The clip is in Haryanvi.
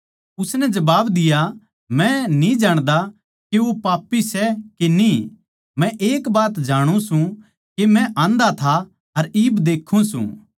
उसनै जबाब दिया मै न्ही जाण्दा के वो पापी सै के न्ही मै एक बात जाणु सूं के मै आन्धा था अर इब देक्खूँ सूं